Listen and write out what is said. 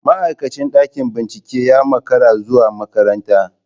Ma'aikacin ɗakin bincike ya makara zuwa makaranta.